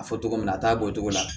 A fɔ cogo min na a t'a bɔcogo la